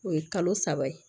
O ye kalo saba ye